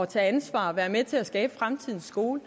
tage ansvar og være med til at skabe fremtidens skole